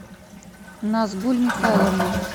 назгуль михайловна